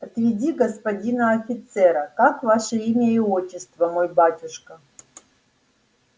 отведи господина офицера как ваше имя и отчество мой батюшка